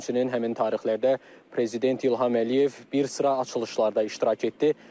Həmçinin həmin tarixlərdə prezident İlham Əliyev bir sıra açılışlarda iştirak etdi.